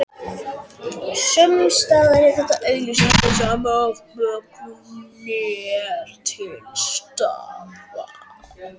Sumsstaðar er það augljóst því sama afbökunin er til staðar.